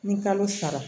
Ni kalo saba